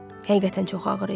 Həqiqətən, çox ağır idi.